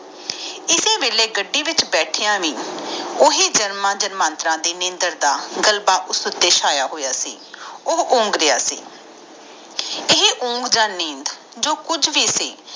ਕਿਸੇ ਵੇਲੇ ਗੱਡੀ ਵਿਚ ਬੇਥਯਾ ਵੀ ਓਹੀ ਜਨਮ ਜਨਮਾਂਤਰਾਂ ਦੇ ਨੀਂਦਰ ਉਂਦਾ ਉਗਮੀਆਂ ਹੋਇਆ ਸਦੀ ਉਹ ਨਗਰੀਆਂ ਹੋਯਾ ਸੀ ਓਂਗ ਆ ਨੀਂਦ ਜੋ ਕੁਜ ਵੀ ਸੀ